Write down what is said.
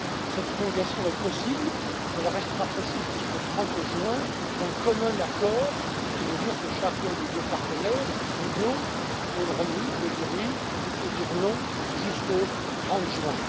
Cette prolongation est possible, elle restera possible jusqu'au 30 juin, d'un commun accord, ce qui veut dire que chacun des deux partenaires, l'Union et le Royaume Uni peut dire oui, ou non, jusqu'au 30 juin.